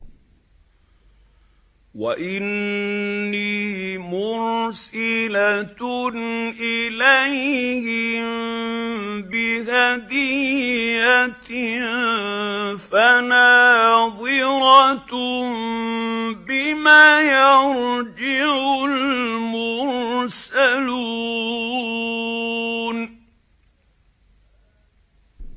وَإِنِّي مُرْسِلَةٌ إِلَيْهِم بِهَدِيَّةٍ فَنَاظِرَةٌ بِمَ يَرْجِعُ الْمُرْسَلُونَ